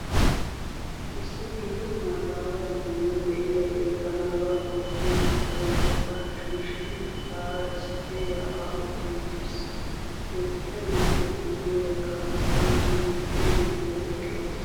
Issi gita maataawa bitanee de'iyaagee banaara oottiyaa oosanchchata shiishidi etaara issippe yaa'aa uttiwttis. He bitaniyaappe guyye bagaarakka nu biittee banddiray de'es